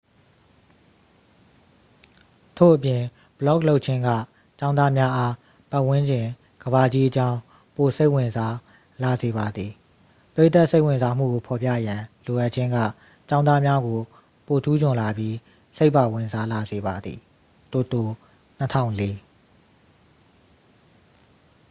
"ထို့အပြင် ဘလော့ဂ်လုပ်ခြင်းက "ကျောင်းသားများအား ပတ်ဝန်းကျင် ကမ္ဘာကြီးအကြောင်း ပိုစိတ်ဝင်စားလာစေပါသည်။" ပရိသတ်စိတ်ဝင်စားမှုကို ဖော်ပြရန် လိုအပ်ခြင်းက ကျောင်းသားများကို ပိုထူးချွန်လာပြီး စိတ်ပါဝင်စားလာစေပါသည် တိုတို၊ ၂၀၀၄။